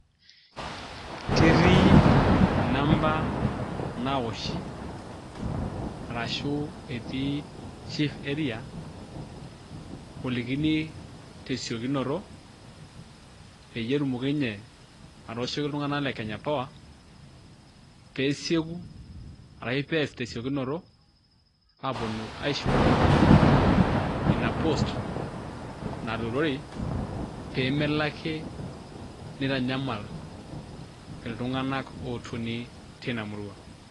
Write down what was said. Ketii inamba naawoshi arashu chief area olikini te siokinoto peyie etumoki nye atooshoki iltung'anak le kenya power, pee esieku arashu pees te siokinoto aaponu aishughulikia ina post, natuurori pee melo ake nitanyamal iltung'anak ootoni tina murua.